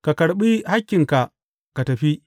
Ka karɓi hakkinka ka tafi.